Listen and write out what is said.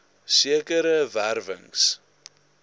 sekere wer wings